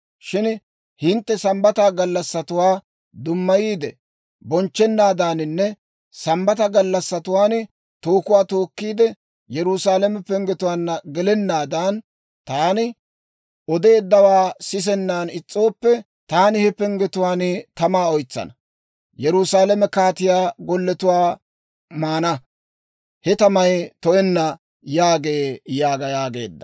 «‹ «Shin hintte Sambbata gallassatuwaa dummayiide bonchchanaadaaninne Sambbata gallassatuwaan tookuwaa tookkiide, Yerusaalame penggetuwaanna gelennaadan, taani odeeddawaa sisennan is's'ooppe, taani he penggetuwaan tamaa oytsana. Yerusaalame kaatiyaa golletuwaa maana. He tamay to"enna» yaagee› yaaga» yaageedda.